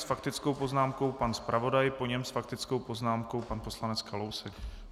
S faktickou poznámkou pan zpravodaj, po něm s faktickou poznámkou pan poslanec Kalousek.